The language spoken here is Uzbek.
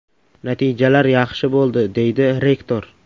Natijalar yaxshi bo‘ldi”, deydi rektor.